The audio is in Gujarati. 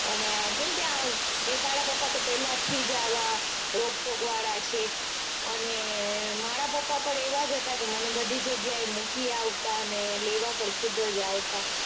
અને કેમ તે આ તારા પપા તો પેલેથી જ આવા રોકટોક વાળા છે અને મારા પપા પણ એવા જ હતા કે મને બધી જગ્યાએ મૂકી જતા અને લેવા પણ ખુદ જ આવતા.